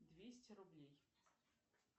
двести рублей